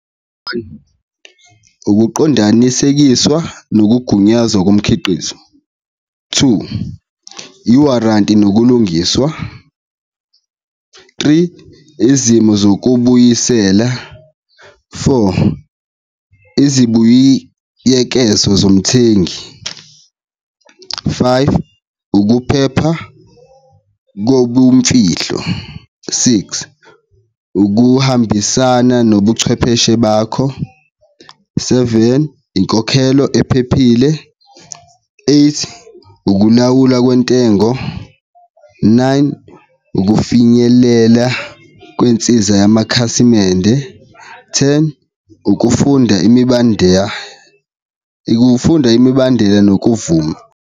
Ukuqondanisekiswa nokugunyazwa komkhiqizo, two, i-warranty nokulungiswa, three, izimo zokubuyisela, four, izibuyiyekezo zomthengi, five, ukuphepha kobumfihlo, six, ukuhambisana nobuchwepheshe bakho, seven, inkokhelo ephephile, eight, ukulawula kwentengo, nine, ukufinyelela kwensiza yamakhasimende, ten, ukufunda imibandeya, ukufunda imibandela nokuvuma.